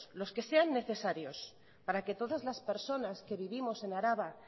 los que sean necesarios para que todas las personas que vivimos en araba